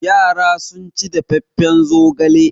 Yara sun ci dafaffen zogala.